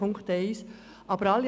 Dies ist bei Punkt 1 der Fall.